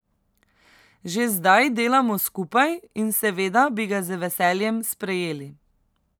Že zdaj delamo skupaj in seveda bi ga z veseljem sprejeli.